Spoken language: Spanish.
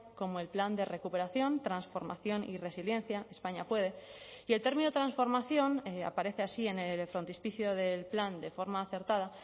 como el plan de recuperación transformación y resiliencia españa puede y el término transformación aparece así en el frontispicio del plan de forma acertada